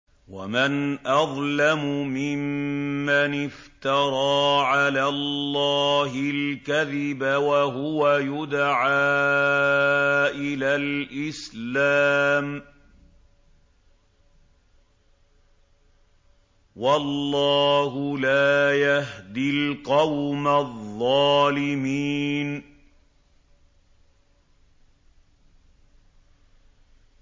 وَمَنْ أَظْلَمُ مِمَّنِ افْتَرَىٰ عَلَى اللَّهِ الْكَذِبَ وَهُوَ يُدْعَىٰ إِلَى الْإِسْلَامِ ۚ وَاللَّهُ لَا يَهْدِي الْقَوْمَ الظَّالِمِينَ